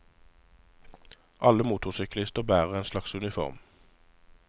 Alle motorsyklister bærer en slags uniform.